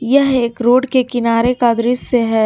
यह एक रोड के किनारे का दृश्य है।